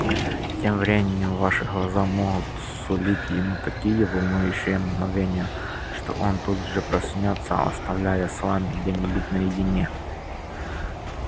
тем временем ваши глаза могут сулить ему такие волнующие мгновения что он тут же проснётся оставляя с вами где-нибудь наедине